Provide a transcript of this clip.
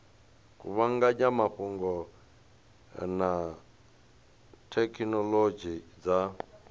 kuvhanganya mafhungo na thekhinolodzhi dza